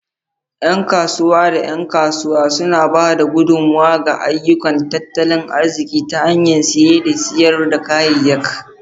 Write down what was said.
Yan kasuwa da 'yan kasuwa suna ba da gudummawa ga ayyukan tattalin arziki ta hanyar siye da sayar da kayayyak.